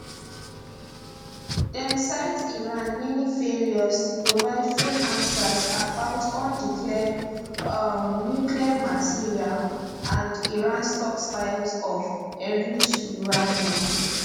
dem cite iran many failures to provide full answers about undeclared um nuclear material and iran stockpile of enriched uranium